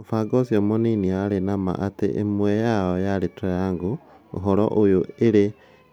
mũbangi ũcio mũnini arĩ namaa atĩ ĩmwe yao yarĩ 'triangle' ( ũhoro ũyũ ĩrĩ